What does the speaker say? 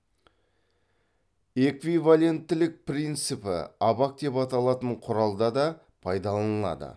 эквиваленттілік принципі абак деп аталатын құралда да пайдаланылады